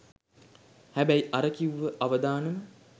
හැබැයි අර කිව්ව අවදානම